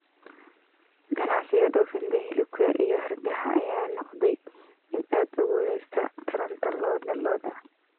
Ganacsiga dhoofinta hilibka iyo hargaha ayaa noqday mid aad u guuleystey taranta lo'da lo'da.